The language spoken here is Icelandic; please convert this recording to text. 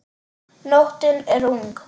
Nóttin er ung